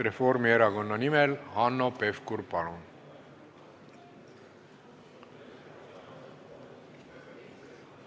Reformierakonna nimel Hanno Pevkur, palun!